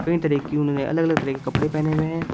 कई तरह की उन्होंने अलग अलग तरह के कपड़े पहने हुए हैं।